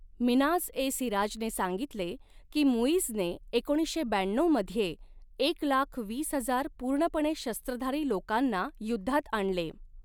मिन्हाज ए सिराजने सांगितले की, मुइझने एकोणीसशे ब्याण्णऊ मध्ये एक लाख वीस हजार पूर्णपणे शस्त्रधारी लोकांना युद्धात आणले.